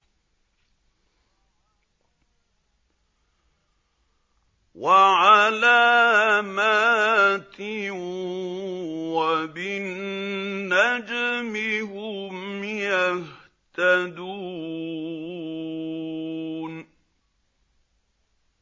وَعَلَامَاتٍ ۚ وَبِالنَّجْمِ هُمْ يَهْتَدُونَ